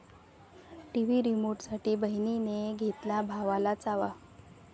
TV रिमोटसाठी बहिणीने घेतला भावाला चावा